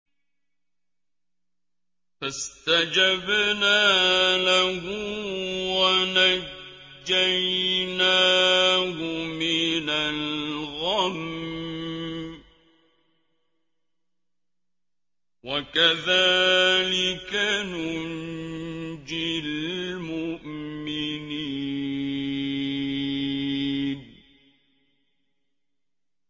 فَاسْتَجَبْنَا لَهُ وَنَجَّيْنَاهُ مِنَ الْغَمِّ ۚ وَكَذَٰلِكَ نُنجِي الْمُؤْمِنِينَ